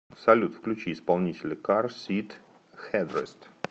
салют включи исполнителя кар сит хэдрест